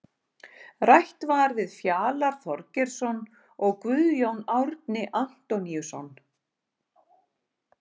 Rætt var við Fjalar Þorgeirsson og Guðjón Árni Antoníusson.